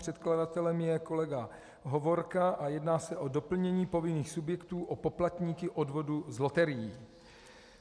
Předkladatelem je kolega Hovorka a jedná se o doplnění povinných subjektů o poplatníky odvodů z loterií.